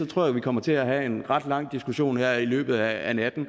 tror jeg vi kommer til at have en ret lang diskussion her i løbet af natten